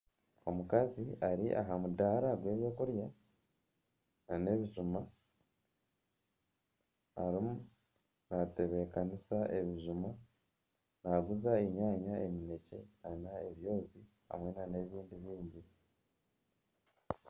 Omukazi ari aha mudaara gw'ebyokurya nana ebijuma arimu naatebekanisa ebijuma, naaguza enyanya, emineekye, ebyozi hamwe nana ebyokurya ebibisi